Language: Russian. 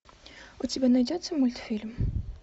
у тебя найдется мультфильм